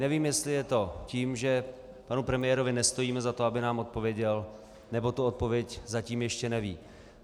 Nevím, jestli je to tím, že panu premiérovi nestojíme za to, aby nám odpověděl, nebo tu odpověď zatím ještě neví.